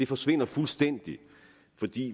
forsvinder fuldstændig fordi